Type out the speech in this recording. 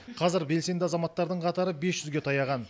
қазір белсенді азаматтардың қатары бес жүзге таяған